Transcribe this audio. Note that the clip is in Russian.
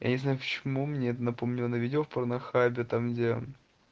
я не знаю почему мне напомнила на видео в порнхабе там где